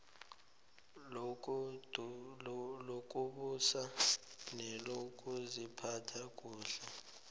lokubusa nelokuziphatha kuhle